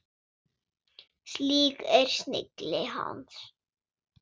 Slík er snilli hans.